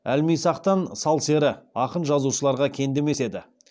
әлмисақтан сал сері ақын жазушыларға кенде емес еді